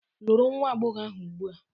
Lụrụ nwa agbọghọ ahụ ugbu a!